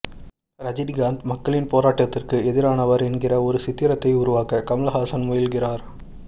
ரஜினிகாந்த் மக்களின் போராட்டத்திற்கு எதிரானவர் என்கிற ஒரு சித்திரத்தை உருவாக்க கமல்ஹாசன் முயல்கிறார்